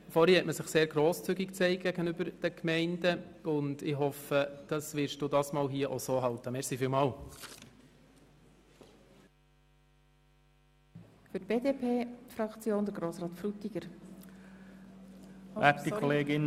Vorhin hat man sich gegenüber den Gemeinden sehr grosszügig gezeigt, und ich hoffe, Sie werden sich jetzt gleich verhalten.